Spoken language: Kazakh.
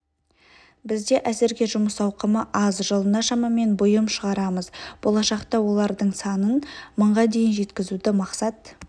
бізде әзірге жұмыс ауқымы аз жылына шамамен бұйым шығарамыз болашақта олардың санын мыңға дейін жеткізуді мақсат